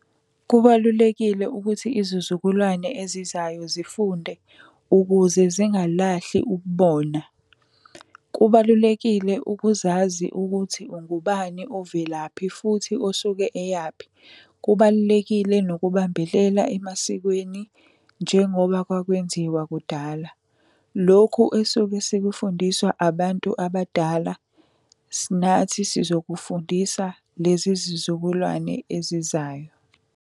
Kubalulekile ukuthi izizukulwane ezizayo zifunde, ukuze zingalahleki ububona. Kubalulekile ukuzazi ukuthi ungubani, ovelaphi futhi osuke eyaphi. Kubalulekile nokubambelela emasikweni njengoba kwakwenziwa kudala. Lokhu esuke sikufundiswa abantu abadala, nathi sizokufundisa lezi zizukulwane ezizayo.